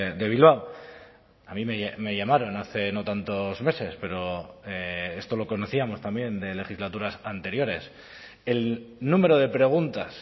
de bilbao a mí me llamaron hace no tantos meses pero esto lo conocíamos también de legislaturas anteriores el número de preguntas